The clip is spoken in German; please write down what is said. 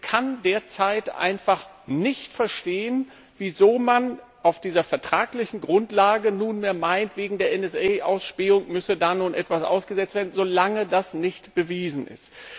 Ich kann derzeit einfach nicht verstehen, wieso man auf dieser vertraglichen Grundlage nunmehr meint, wegen der NSA Ausspähung müsse da nun etwas ausgesetzt werden, solange das nicht bewiesen ist.